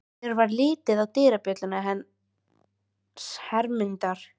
Mér varð litið á dyrabjölluna hans Hermundar.